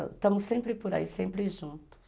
Estamos sempre por aí, sempre juntos.